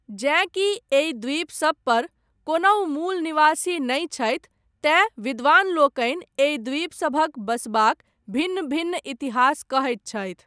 जेँ कि एहि द्वीप सबपर, कोनहु मूल निवासी नहि छथि, तेँ विद्वानलोकनि, एहि द्वीपसभक बसबाक, भिन्न भिन्न इतिहास कहैत छथि।